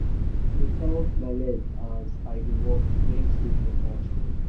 i dey count my leg as i dey work make sleep no catch me.